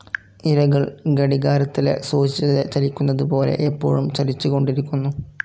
ഇലകൾ ഘടികാരത്തിലെ സൂചി ചലിക്കുന്നതു പോലെ എപ്പോഴും ചലിച്ചുകൊണ്ടിരിക്കുന്നു.